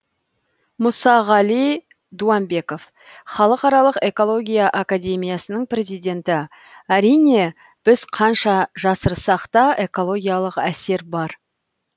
мұсағали дуамбеков халықаралық экология академиясының президенті әрине біз қанша жасырсақ та экологиялық әсер бар